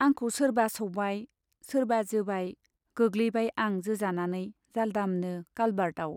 आंखौ सोरबा सौबाय, सोरबा जोबाय, गोग्लैबाय आं जोजानानै जालदामनो कालभार्टआव।